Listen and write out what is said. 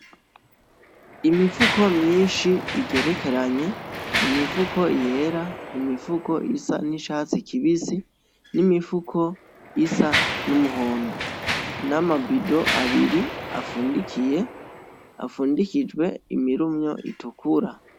Imifuko myinshi igerekeranye, imifuko yera, imifuko isa n'icatsi kibisi n'imifuko isa n'umuhondo, nama bido abiri afundikiye afundikijwe imirumyo itukura.